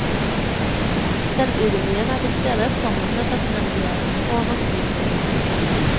Selvironien er tilstede sammen med takknemligheten og naturfølelsen.